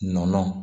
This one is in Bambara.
Nɔnɔ